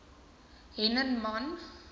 hennenman